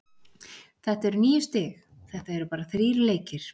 Þetta eru níu stig- þetta eru bara þrír leikir.